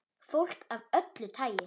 Fólk af öllu tagi.